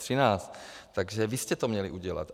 Takže vy jste to měli udělat.